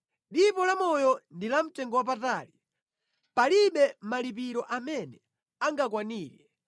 Dipo la moyo ndi la mtengowapatali, palibe malipiro amene angakwanire,